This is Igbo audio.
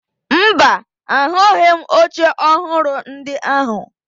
Mba, ahụghị m oche ọhụrụ ndị ahụ